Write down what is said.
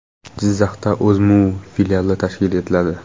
Jizzaxda O‘zMU filiali tashkil etiladi.